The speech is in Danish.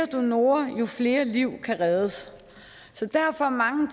donorer jo flere liv kan reddes derfor mange